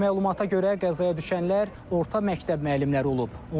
Məlumata görə qəzaya düşənlər orta məktəb müəllimləri olub.